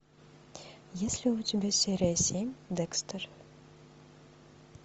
есть ли у тебя серия семь декстер